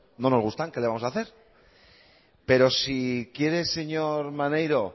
no nos gustan qué le vamos a hacer pero si quiere señor maneiro